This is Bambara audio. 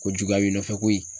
Ko juguya b'i nɔfɛ koyi.